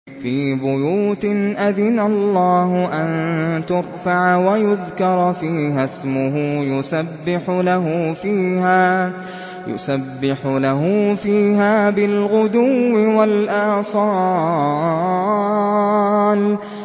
فِي بُيُوتٍ أَذِنَ اللَّهُ أَن تُرْفَعَ وَيُذْكَرَ فِيهَا اسْمُهُ يُسَبِّحُ لَهُ فِيهَا بِالْغُدُوِّ وَالْآصَالِ